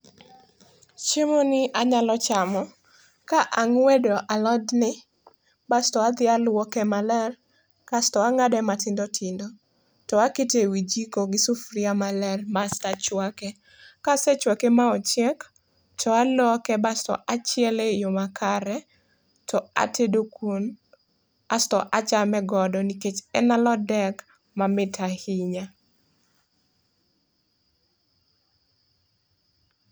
chiemo ni anyalo chamo ka angwedo alot ni basto adhi aluoke maler, kasto angade matindo tindo to akete e wii jiko gi sufria maler basto achwake. Kasechwake ma ochiek to aloke basto achiele e yoo makare to atedo kuon asto achame godo nikech en alot dek ma mit ahinya